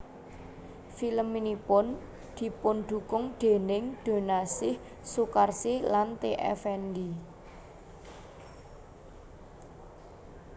Filmnipun dipundukung dèning Doenaesih Soekarsih lan T Effendy